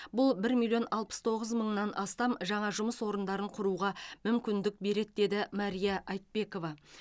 бұл бір миллион алпыс тоғыз мыңнан астам жаңа жұмыс орындарды құруға мүмкіндік береді деді мария айтбекова